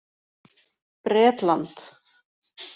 Bretland